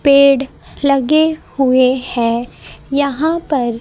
पेड़ लगे हुए है यहां पर--